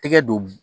Tɛgɛ don